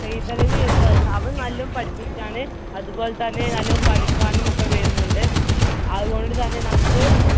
സെയ്തലവി എന്ന് പറയുന്ന അവൻ നല്ല പഠിപ്പിസ്റ് ആണ്. അതുപോലെതന്നെ കളിക്കാനുമൊക്കെ വരുന്നുണ്ട്. അതുകൊണ്ടുതന്നെ നമുക്ക്